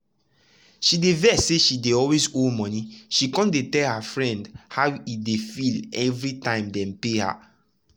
she dey vex say she dey always owe monie she come dey tell her friend friend how e dey feel every time dem pay her.